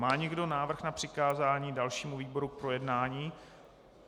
Má někdo návrh na přikázání dalšímu výboru k projednání?